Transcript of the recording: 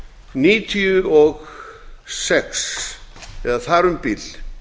níutíu og sex eða þar um bil